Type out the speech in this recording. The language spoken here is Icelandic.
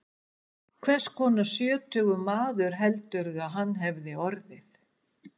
Hvers konar sjötugur maður heldurðu að hann hefði orðið?